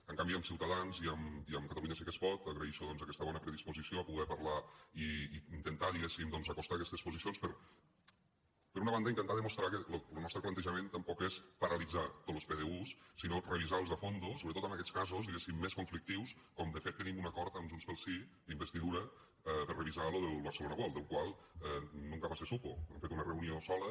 en canvi amb ciutadans i amb catalunya sí que es pot agraeixo doncs aquesta bona predisposició a poder parlar i intentar diguéssim acostar aquestes posicions per per una banda intentar demostrar que lo nostre plantejament tampoc és paralitzar tots los pdu sinó revisar los a fons sobretot en aquests casos diguéssim més conflictius com de fet tenim un acord amb junts pel sí d’investidura per a revisar lo del barcelona world del qual nunca más se supo hem fet una reunió sola